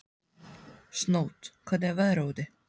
Snót, hvernig er veðrið úti?